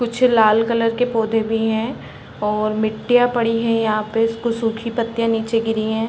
कुछ लाल कलर के पौधे भी हैं और मिट्टियाँ पड़ी है। यहाँ पर कुछ सुखी पत्तिया नीचे गिरी हैं।